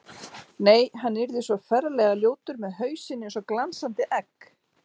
Nei, hann yrði svo ferlega ljótur með hausinn eins og glansandi egg.